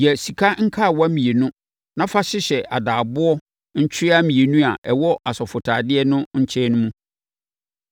Yɛ sika nkawa mmienu na fa hyehyɛ adaaboɔ ntwea mmienu a ɛwɔ asɔfotadeɛ no nkyɛn mu.